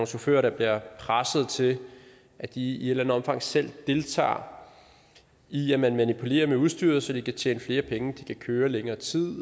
chauffører der bliver presset til at de i et eller andet omfang selv deltager i at manipulere med udstyret så de kan tjene flere penge så de kan køre i længere tid